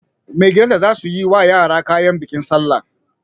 Magidanta za su yi wa yara kayan bikin salla.